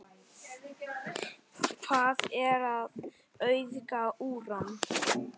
Hvað er að auðga úran?